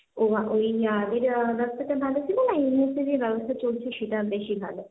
ওই যেটার রাস্তাটা ভালো ছিল না এই মুহূর্তে যে ব্যবস্থা চলছে সেটা বেশি ভালো?